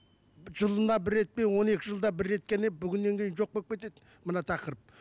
жылына бір рет пен он екі жылда бір рет қана бүгіннен кейін жоқ болып кетеді мына тақырып